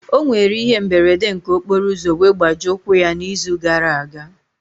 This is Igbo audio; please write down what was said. Ọ nwere ihe mberede nke okporoụzọ wee gbajie ụkwụ ya n'izu gara aga.